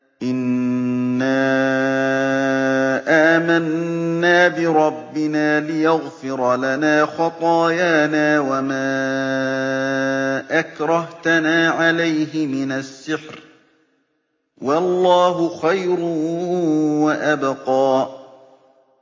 إِنَّا آمَنَّا بِرَبِّنَا لِيَغْفِرَ لَنَا خَطَايَانَا وَمَا أَكْرَهْتَنَا عَلَيْهِ مِنَ السِّحْرِ ۗ وَاللَّهُ خَيْرٌ وَأَبْقَىٰ